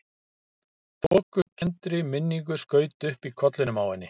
Þokukenndri minningu skaut upp í kollinum á henni.